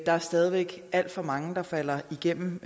er stadig væk alt for mange der falder igennem